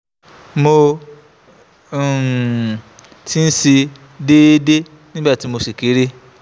mo um ti ń ṣe é déédéé nígbà tí mo ṣì kéré